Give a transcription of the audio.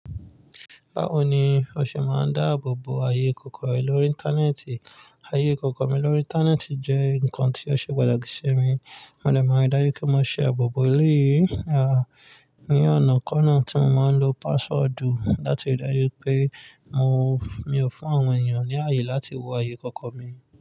Báwo ni o ṣe máa ń dáàbò bo ààyè ìkọ̀kọ̀ rẹ lórí Íńtánẹ́ẹ̀tì? Ààyè ìkọ̀kọ̀ mi lórí Íńtánẹ́ẹ̀tì jẹ́ nǹkan tí ó ṣe pàtàkì sí mi. Mo dẹ̀ máa ń ri dájú pe mo ṣe àbò bo eléyìí ní ọ̀nà kan náà tí mo máa ń lo pááswọ̀dù láti ri daju pé àwọn mi ò fún àwọn èèyàn ní ààyè láti wo ààyè ìkọ̀kọ̀ mi.